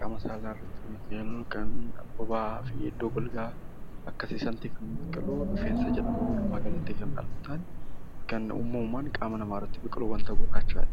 qaama saalaa irra jiran , bobaa fi iddoo golgaa kan namatti tolu rifeensa jedhama. Kan uumamumaan qaama namaa irratti biqilu gurraacha.